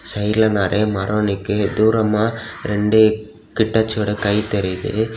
சைடுல நெறிய மரம் நிக்கி தூரமா ரெண்டு ஹிட்டச்சியோட கை தெரியுது.